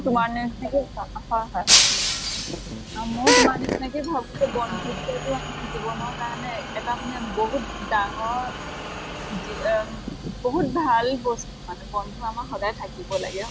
তোমাৰ নিছিনাকে আৰু ময়ো তোমাৰ নিছিনাকে ভাবো যে বন্ধুত্ব টো আমাৰ জীৱনৰ কাৰণে এটামানে বহুত ডাঙৰ যিয়া বহুত ভাল বস্তু । বন্ধু আমাৰ সদায় থাকিব লাগে।